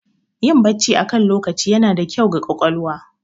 Yin Bacci akan lokaci yana da kyau ga ƙwaƙwalwa